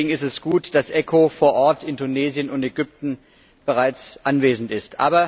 Deswegen ist es gut, dass ECHO vor Ort in Tunesien und Ägypten bereits anwesend ist.